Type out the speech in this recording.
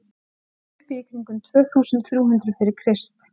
hún var uppi í kringum tvö þúsund þrjú hundruð fyrir krist